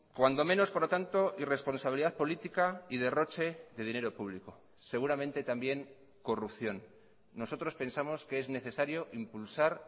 cuando menos por lo tanto y responsabilidad política y derroche de dinero público seguramente también corrupción nosotros pensamos que es necesario impulsar